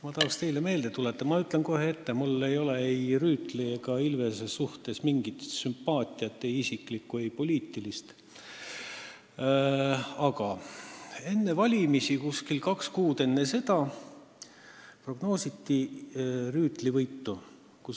Ma tahan teile meelde tuletada – ma ütlen kohe ette, et mul ei ole ei Rüütli ega Ilvese suhtes mingit isiklikku ega poliitilist sümpaatiat –, et enne valimisi, umbes kaks kuud varem, prognoositi Rüütli võitu.